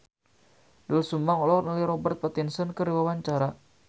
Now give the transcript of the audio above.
Doel Sumbang olohok ningali Robert Pattinson keur diwawancara